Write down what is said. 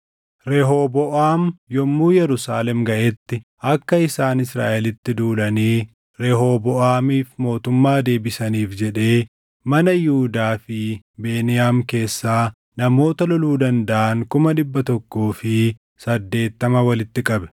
Rehooboʼaam yommuu Yerusaalem gaʼetti akka isaan Israaʼelitti duulanii Rehooboʼaamiif mootummaa deebisaniif jedhee mana Yihuudaa fi Beniyaam keessaa namoota loluu dandaʼan kuma dhibba tokkoo fi saddeettama walitti qabe.